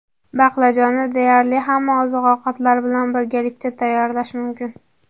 Baqlajonni deyarli hamma oziq-ovqatlar bilan birgalikda tayyorlash mumkin.